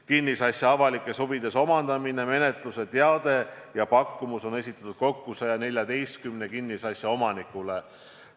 Kinnisasja avalikes huvides omandamise menetluse teade ja pakkumus on esitatud kokku 114 kinnisasja omanikule.